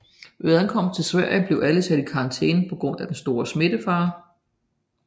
Ved ankomsten til Sverige blev alle sat i karantæne på grund af den store smittefare